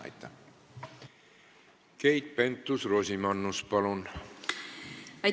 Keit Pentus-Rosimannus, palun!